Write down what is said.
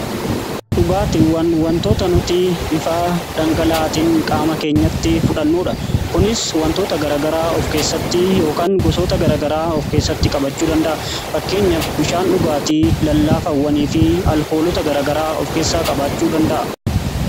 Dhugaatiiwwan wantoota nuti bifa dhangala'atiin qaama keenyatti fudhannudha. Kunis wantoota gara garaa of keessatti yookaan gosoota gara garaa of keessatti qabachuu danda'a. Fakkeenyaf bishaan dhugaatii, lallaafawwanii fi alkoolota gara garaa of keessaa qabaachuu danda'a.